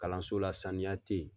Kalanso la saniya tɛ ye